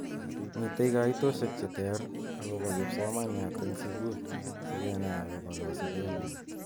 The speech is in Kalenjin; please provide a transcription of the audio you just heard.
Mitei kaitoshek cheter akobo kipsomaniat eng sukul sikenai akobo kasubet nyi.